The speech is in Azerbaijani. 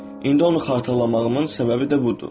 İndi onu xatırlamağımın səbəbi də budur.